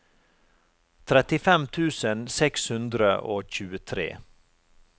trettifem tusen seks hundre og tjuetre